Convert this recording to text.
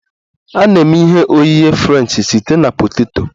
A na-eme ihe oghighe french site na poteto